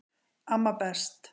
Amma best